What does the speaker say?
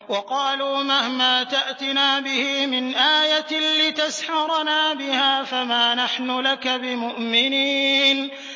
وَقَالُوا مَهْمَا تَأْتِنَا بِهِ مِنْ آيَةٍ لِّتَسْحَرَنَا بِهَا فَمَا نَحْنُ لَكَ بِمُؤْمِنِينَ